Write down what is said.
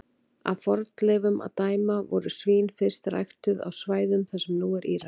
Af fornleifum að dæma voru svín fyrst ræktuð á svæðum þar sem nú er Írak.